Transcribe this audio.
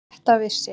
Þetta vissi